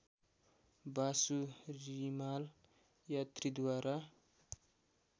Vasu Rimal यात्रीद्वारा